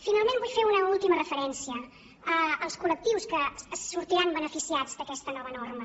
finalment vull fer una última referència als col·lectius que sortiran beneficiats d’aquesta nova norma